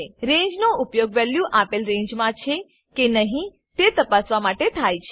ranges નો ઉપયોગ value આપેલ રેંજ માં છે કે નહી તે તપાસવા માટે થાય છે